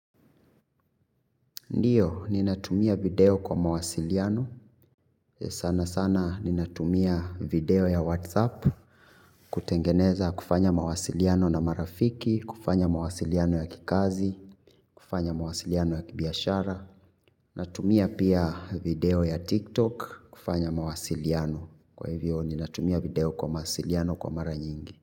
Ndiyo, ninatumia video kwa mawasiliano, sana sana ninatumia video ya WhatsApp, kutengeneza kufanya mawasiliano na marafiki, kufanya mawasiliano ya kikazi, kufanya mawasiliano ya kibiashara. Natumia pia video ya TikTok, kufanya mawasiliano, kwa hivyo ninatumia video kwa mawasiliano kwa mara nyingi.